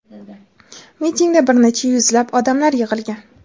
Mitingda bir necha yuzlab odamlar yig‘ilgan.